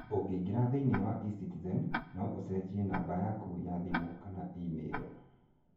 Ũngĩingĩra thĩinĩ wa e-Citizen, no ũcenjie namba yaku ya thimũ kana imĩrũ.